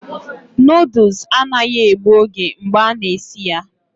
Noodles anaghị egbu oge mgbe a na-esi ya